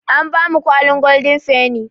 An bamu kwalin goldin feni